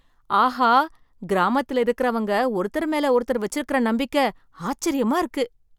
ஆஹா! கிராமத்தில இருக்கிறவங்க ஒருத்தர் மேல ஒருத்தர் வச்சிருக்கற நம்பிக்க ஆச்சரியமா இருக்கு !